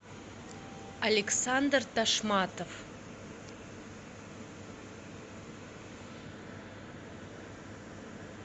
александр ташматов